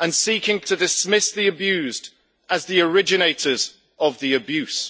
and seeking to dismiss the abused as the originators of the abuse.